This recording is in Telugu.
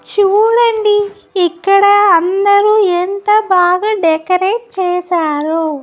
చూడండి ఇక్కడ అందరూ ఎంత బాగా డెకరేట్ చేసారో.